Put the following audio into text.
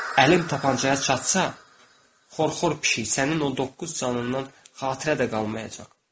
Əlim tapançaya çatsa, xor-xor pişik, sənin o doqquz canından xatirə də qalmayacaq.